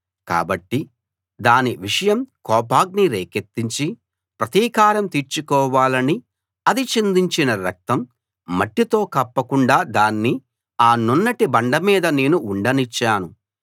కాబట్టి దాని విషయం కోపాగ్ని రేకెత్తించి ప్రతీకారం తీర్చుకోవాలని అది చిందించిన రక్తం మట్టితో కప్పకుండా దాన్ని ఆ నున్నటి బండ మీద నేను ఉండనిచ్చాను